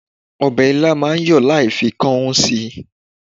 Ọbẹ̀ ilá máa ń yọ láì fi kan ún si.